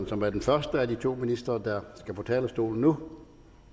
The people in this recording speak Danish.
som er den første af de to ministre der skal på talerstolen nu